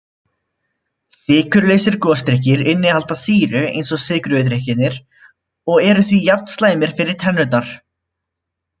Sykurlausir gosdrykkir innihalda sýru eins og sykruðu drykkirnir og eru því jafn slæmir fyrir tennurnar.